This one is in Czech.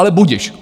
Ale budiž.